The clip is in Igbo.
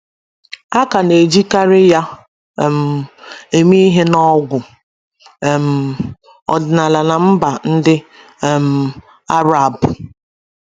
A ka na - ejikarị ya um eme ihe n’ọgwụ um ọdịnala ná mba ndị um Arab